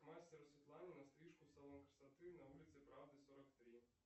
к мастеру светлане на стрижку в салон красоты на улице правды сорок три